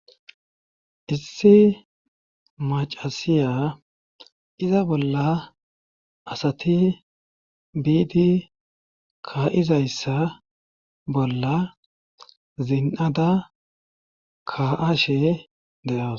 issi macasiya iza bolla asati biidi ka7izayssa bolla zin7ada ka7ashe de7awus